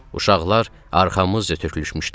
Uşaqlar arxamızca tökülüşmüşdülər.